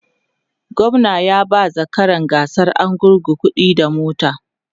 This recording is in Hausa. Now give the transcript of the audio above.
gwamna ya ba zakaran gasar argungu kuɗi da mota